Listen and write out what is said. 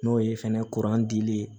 N'o ye fɛnɛ dili ye